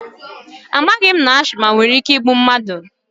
Amaghị m na ashịma nwere ike igbu mmadụ